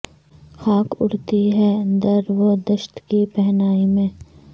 خاک اڑتی ہے در و دشت کی پہنائی میں